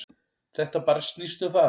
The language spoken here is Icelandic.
Þetta bara snýst um það.